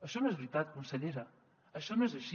això no és veritat consellera això no és així